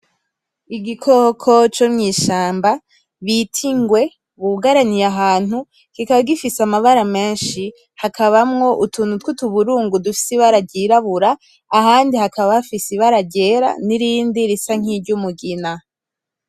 Igikoko co mw'ishamba bita ingwe bugaraniye ahantu kikaba gifise amabara meshi hakabamwo utuntu twutuburungu dufise ibara ry’irabura ahandi hakaba hafise ibara ryera nirindi risa nk’iryumugina.